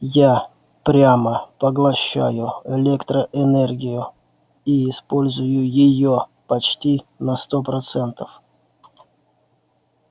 я прямо поглощаю электроэнергию и использую её почти на сто процентов